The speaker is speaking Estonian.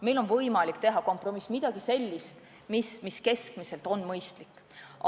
Meil on võimalik teha kompromiss – leida mingi lahendus, mis keskmisena on mõistlik.